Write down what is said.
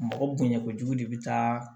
Mɔgɔ bonya kojugu de bɛ taa